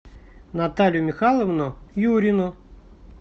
наталью михайловну юрину